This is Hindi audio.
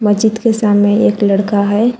मस्जिद के सामने एक लड़का है।